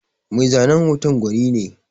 Mai zanen hoton gwani ne.